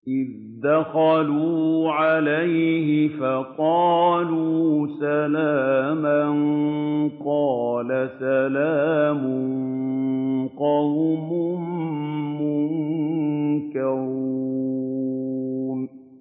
إِذْ دَخَلُوا عَلَيْهِ فَقَالُوا سَلَامًا ۖ قَالَ سَلَامٌ قَوْمٌ مُّنكَرُونَ